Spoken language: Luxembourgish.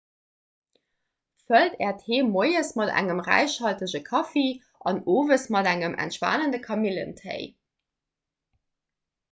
fëllt äert heem moies mat engem räichhaltege kaffi an owes mat engem entspanende kamillentéi